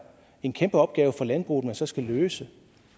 en kæmpe opgave for landbruget man så skal løse